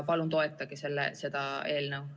Palun toetage seda eelnõu!